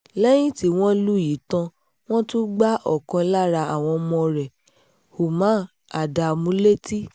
lẹ́yìn tí wọ́n lù yìí tán wọ́n tún gba ọ̀kan lára àwọn ọmọ rẹ̀ uman ádámù létí